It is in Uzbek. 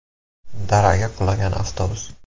Daraga qulagan avtobus.